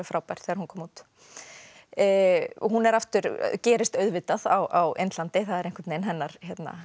frábær þegar hún kom út hún gerist auðvitað á Indlandi það eru einhvern veginn hennar